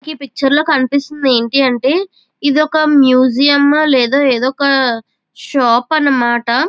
ఈ పిక్చర్ లో కనిపిస్తూ ఉన్నది ఏంటంటే ఇదొక మ్యూసియం లేదా షాప్ అన్నమాట.